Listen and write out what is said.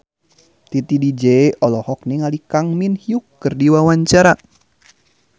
Titi DJ olohok ningali Kang Min Hyuk keur diwawancara